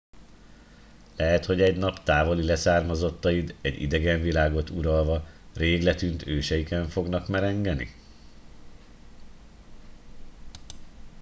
lehet hogy egy nap távoli leszármazottaid egy idegen világot uralva rég letűnt őseiken fognak merengeni